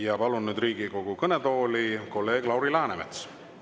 Ja palun nüüd Riigikogu kõnetooli kolleeg Lauri Läänemetsa.